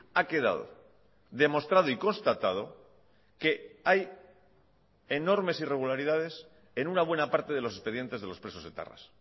ha quedado demostrado y constatado que hay enormes irregularidades en una buena parte de los expedientes de los presos etarras